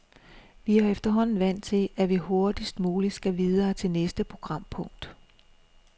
Vi er efterhånden vant til, at vi hurtigst muligt skal videre til næste programpunkt.